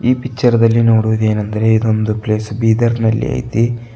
ಈ ಪಿಚ್ಚರ್ ದಲ್ಲಿ ನೋಡುವದೆನೆಂದರೆ ಇದೊಂದ ಪ್ಲೇಸ್ ಬೀದರನಲ್ಲಿ ಐತಿ.